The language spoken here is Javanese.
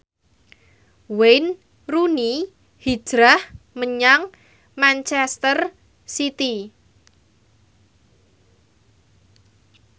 Wayne Rooney hijrah menyang manchester city